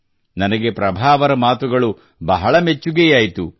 ನನಗೆ ಪ್ರಭಾ ಅವರ ಮಾತುಗಳು ಬಹಳ ಮೆಚ್ಚುಗೆಯಾಯಿತು